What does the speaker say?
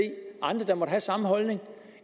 andre der måtte have samme holdning